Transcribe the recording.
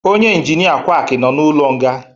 onye injinia quaki nọ n'ụlọ nga